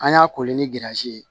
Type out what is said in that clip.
An y'a kolen ni girizi ye